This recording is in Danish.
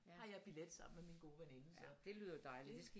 Har jeg billet sammen med min gode veninde så det